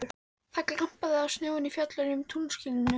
Það glampaði á snjóinn í fjöllunum í tunglskininu.